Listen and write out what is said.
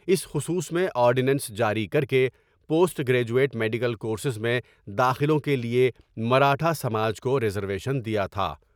اس خصوص میں آرڈینینس جاری کر کے post graduate medical courses میں داخلوں کے لیے مراٹھا سماج کو ریز رویشن دیا تھا ۔